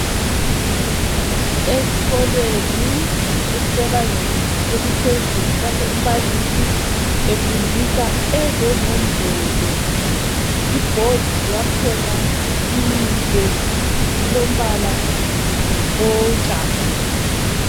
Esikolweni esisebangeni eliphezulu lapho umbalisi efundisa ezenombolo. Ibhodi yakhona inhle ilombala owotshani.